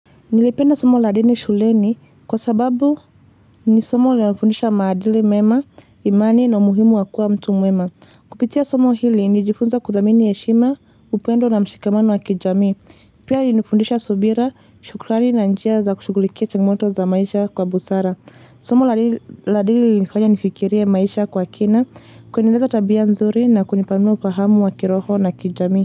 Nilipenda somo la dini shuleni kwa sababu ni somo linalofundisha maadili mema, imani na umuhimu wakuwa mtu mwema. Kupitia somo hili nili jifunza kudhamini heshima, upendo na mshikamano wa kijamii. Pia ilinifundisha subira, shukrani na njia za kushugulikia changmoto za maisha kwa busara. Somo la dini nifikiria maisha kwa kina, kuendeleza tabia nzuri na kunipanua ufahamu wa kiroho na kijamii.